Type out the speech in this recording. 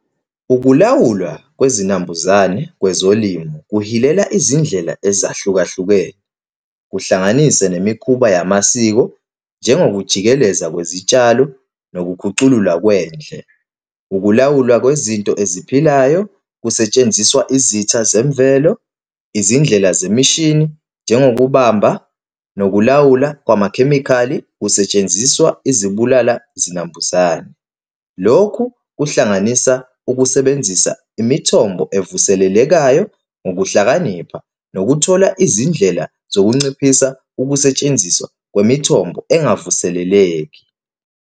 Ukulawulwa kwezinambuzane kwezolimo kuhilela izindlela ezahlukahlukene, kuhlanganise nemikhuba yamasiko, njengokujikeleza kwezitshalo, nokukhuculula kwendle, ukulawulwa kwezinto eziphilayo, kusetshenziswa izitha zemvelo, izindlela zemishini, njengokubambisa nokulawula kwamakhemikhali, kusetshenziswa izibulala zinambuzane. Lokhu kuhlanganisa ukusebenzisa imithombo evuselelekayo ngokuhlakanipha nokuthola izindlela zokunciphisa ukusetshenziswa kwemithombo engavuseleleki.